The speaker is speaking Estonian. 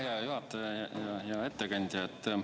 Aitäh, hea juhataja ja hea ettekandja!